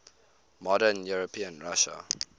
modern european russia